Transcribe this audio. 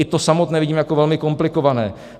I to samotné vidím jako velmi komplikované.